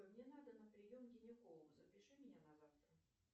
мне надо на прием к гинекологу запиши меня на завтра